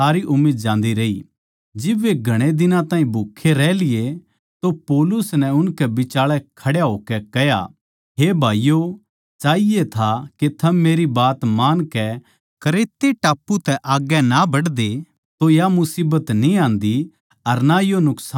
जिब वे घणे दिन ताहीं भूखे रह लिये तो पौलुस नै उनकै बिचाळै खड़े होकै कह्या हे भाईयो चाहिये था के थम मेरी बात मानकै क्रेते टापू तै आग्गै ए ना बढ़ते तो या मुसीबत न्ही आन्दी अर ना यो नुकसान ठान्दे